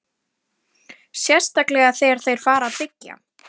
Sérstaklega þegar þeir fara að byggja.